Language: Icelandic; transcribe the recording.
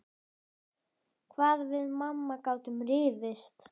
Hvað við mamma gátum rifist.